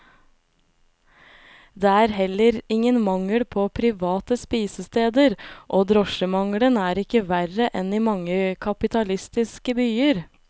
Det er heller ingen mangel på private spisesteder, og drosjemangelen er ikke verre enn i mange kapitalistiske byer.